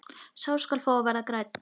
Sá skal fá að verða grænn!